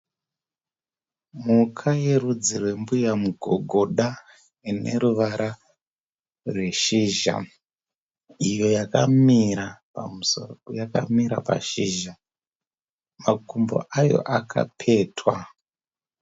Mhuka yerudzi rwembuya mugogoda ine ruvara rweshizha. Iyo yakamira pamusoro peshizha, makumbo ayo akapetwa.